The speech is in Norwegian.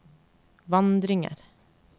vandringer